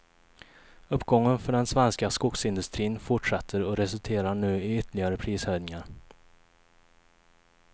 Uppgången för den svenska skogsindustrin fortsätter och resulterar nu i ytterligare prishöjningar.